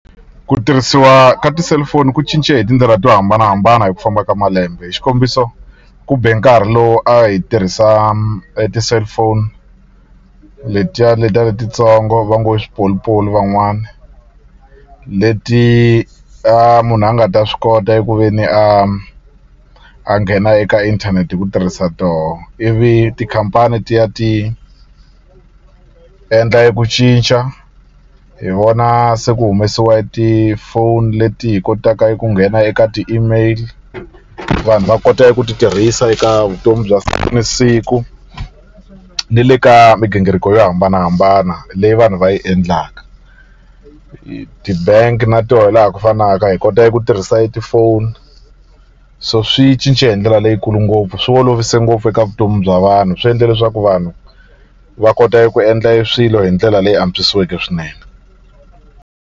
Ku tirhisiwa ka ti-cellphone ku cince hi tindlela to hambanahambana hi ku famba ka malembe hi xikombiso ku be nkarhi lowu a hi tirhisa e ti-cellphone letiya letiya letitsongo va ngo i swipolipoli van'wani leti a munhu a nga ta swi kota eku ve ni a a nghena eka inthanete hi ku tirhisa toho ivi tikhampani ti ya ti endla eku cinca hi vona se ku humesiwe ti-phone leti hi kotaka eku nghena eka ti-email vanhu va kota eku ti tirhisa eka vutomi bya ni siku ni le ka migingiriko yo hambanahambana leyi vanhu va yi endlaka ti-bank na toho laha ku fanaka hi kota eku tirhisa e tifoni so swi cince hi ndlela leyikulu ngopfu swi olovise ngopfu eka vutomi bya vanhu swi endle leswaku vanhu va kota eku endla e swilo hi ndlela leyi antswisiweke swinene.